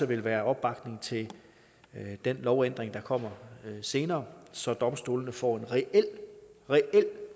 vil være opbakning til den lovændring der kommer senere så domstolene får en reel reel